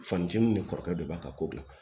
Fanici ni kɔrɔkɛ dɔ b'a ka ko la